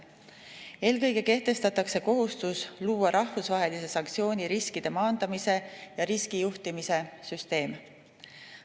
Eelkõige kehtestatakse kohustus luua rahvusvahelise sanktsiooni riskide maandamise ja riskijuhtimise süsteem.